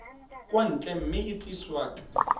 kwa ntle mme e tliswa